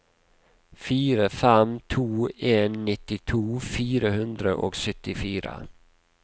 fire fem to en nittito fire hundre og syttifire